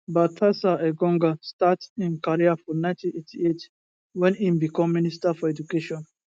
baltasar engonga start im career for 1998 wen im become minister for education